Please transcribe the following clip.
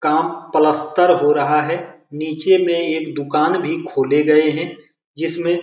काम प्लस्तर हो रहा है निचे में एक दुकान भी खोले गए हैं जिसमे --